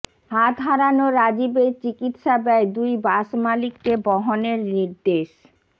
হাত হারানো রাজিবের চিকিৎসা ব্যয় দুই বাস মালিককে বহনের নির্দেশ